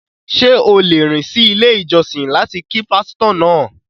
Ṣé o lè rìn sí ilé ìjọsìn láti kí pástọ́ náà?